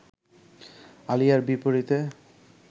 আলিয়ার বিপরীতে